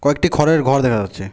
একটি খরের ঘর দেখা যাচ্ছে।